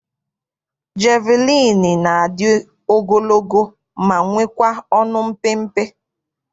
Jeviliini na-adị ogologo ma nwekwaa ọnụ mpịmpị.